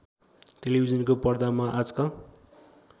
टेलिभिजनको पर्दामा आजकल